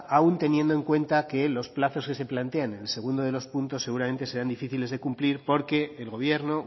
aun teniendo en cuenta que los plazos que se plantean en el segundo de los puntos seguramente serán difíciles de cumplir porque el gobierno